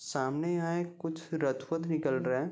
सामने यहाँ एक कुछ रथ-वथ निकल रहा।